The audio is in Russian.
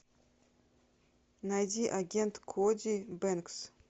найди агент коди бэнкс